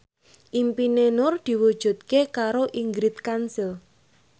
impine Nur diwujudke karo Ingrid Kansil